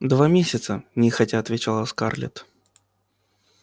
два месяца нехотя отвечала скарлетт